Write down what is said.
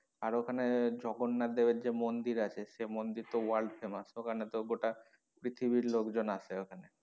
আর ওখানে জগন্নাথ দেবের যে মন্দির আছে সেই মন্দির তো world famous ওখানে তো গোটা পৃথিবীর লোকজন আসে ওখানে।